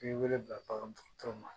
I bɛ wele bila bagandɔgɔtɔrɔ ma